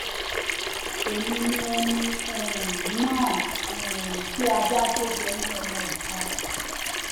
èmi ni ẹni um náà um tí ajá gé jẹ ní ọmọ ìka